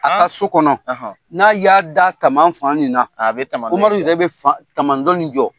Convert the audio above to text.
, A ka so kɔnɔ, n'a y'a da kaman fan nin na, a bɛ na a bɛ tama , Umaru yɛrɛ bɛ fan taman dɔ ni jɔ.